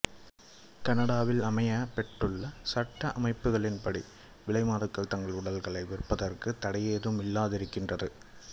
கனடாவில் அமையப்பெற்றுள்ள சட்ட அமைப்புகளின்படி விலைமாதுக்கள் தங்கள் உடல்களை விற்பதற்குத் தடையேதும் இல்லாதிருக்கின்றது